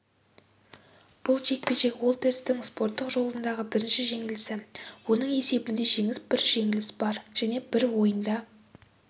бұл жекпе-жек уолтерстің спорттық жолындағы бірінші жеңілісі оның есебінде жеңіс бір жеңіліс бар және бір ойында